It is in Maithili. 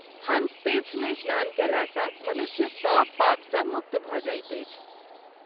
हंसतीर्थ मे स्नान कएला सँ मनुष्य सभ पाप सँ मुक्त भ’ जाइत अछि।